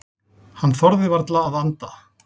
Hann þorði varla að anda.